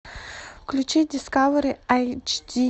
включи дискавери айч ди